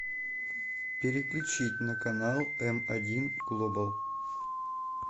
переключить на канал эм один глобал